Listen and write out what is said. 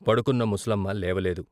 పడుకున్న ముసలమ్మ లేవలేదు.